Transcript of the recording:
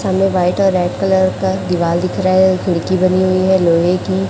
सामने व्हाइट और red colour का दिवाल दिख रहा है खिड़की बनी हुई है लोहे की।